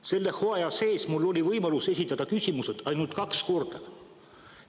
Selle hooaja sees mul on olnud võimalus esitada küsimus ainult kaks korda.